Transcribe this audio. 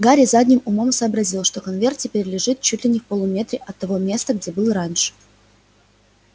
гарри задним умом сообразил что конверт теперь лежит чуть ли не в полуметре от того места где был раньше